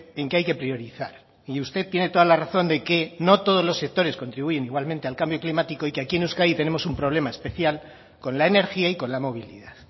en que hay que priorizar y usted tiene toda la razón de que no todos los sectores contribuyen igualmente al cambio climático y que aquí en euskadi tenemos un problema especial con la energía y con la movilidad